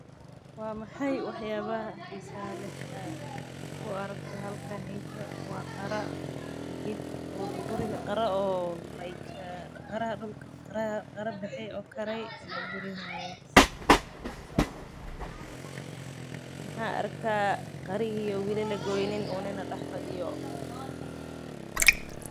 Waa maxay wax yaabaha xiisaha leh oo aad ku aragto halkan waa qara baxay oo kare waxaan arkaa qarahi oo weli lagoynin.